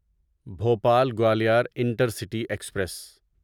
Bhopal Gwalior intercity express